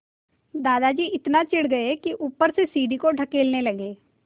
दादाजी इतना चिढ़ गए कि ऊपर से सीढ़ी को धकेलने लगे